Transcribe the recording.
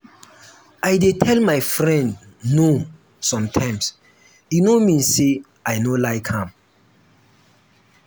i dey tell my friend 'no' sometimes e no mean sey i no like am.